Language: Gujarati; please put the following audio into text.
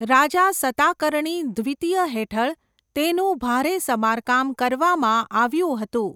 રાજા સતાકર્ણી દ્વિતીય હેઠળ તેનું ભારે સમારકામ કરવામાં આવ્યું હતું.